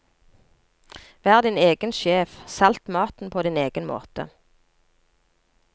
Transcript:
Vær din egen sjef, salt maten på din egen måte.